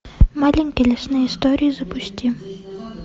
маленькие лесные истории запусти